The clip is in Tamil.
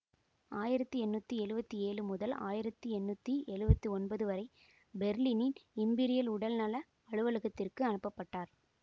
ஆயிரத்தி எண்ணூற்றி எழுவத்தி ஏழு முதல் ஆயிரத்தி எண்ணூற்றி எழுவத்தி ஒன்பது வரை பெர்லினின் இம்பீரியல் உடல்நல அலுவலகத்திற்கு அனுப்ப பட்டார்